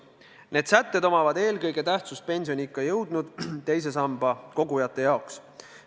Need sätted omavad eelkõige tähtsust nende teise samba kogujate jaoks, kes on pensioniikka jõudnud.